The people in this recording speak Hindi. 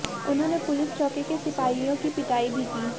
उन्होंने पुलिस चौकी के सिपाहियों की पिटाई भी की